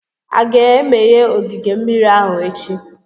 A ga-emeghe ogige mmiri ahụ echi?